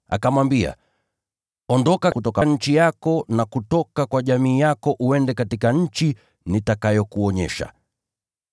akamwambia, ‘Ondoka kutoka nchi yako na kutoka kwa jamii yako, uende hadi nchi nitakayokuonyesha.’